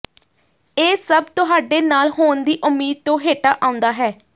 ਇਹ ਸਭ ਤੁਹਾਡੇ ਨਾਲ ਹੋਣ ਦੀ ਉਮੀਦ ਤੋਂ ਹੇਠਾਂ ਆਉਂਦਾ ਹੈ